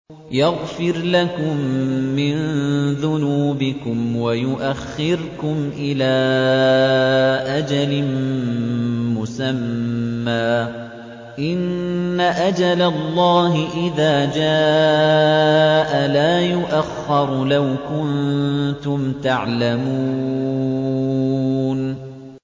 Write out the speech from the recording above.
يَغْفِرْ لَكُم مِّن ذُنُوبِكُمْ وَيُؤَخِّرْكُمْ إِلَىٰ أَجَلٍ مُّسَمًّى ۚ إِنَّ أَجَلَ اللَّهِ إِذَا جَاءَ لَا يُؤَخَّرُ ۖ لَوْ كُنتُمْ تَعْلَمُونَ